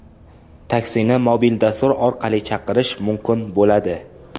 Taksini mobil dastur orqali chaqirish mumkin bo‘ladi.